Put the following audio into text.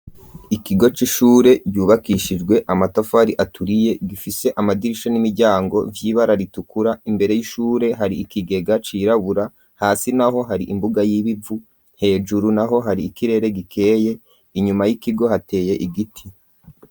Ikigo c'ishure vyubakishijwe amatafari aturiye gifise amadirisha n'imiryango vy'ibara ritukura imbere y'ishure hari ikigega cirabura hasi naho hari imbuga y'ibivu hejuru naho hari ikirere gikeye inyuma y'ikigo hateye igiti.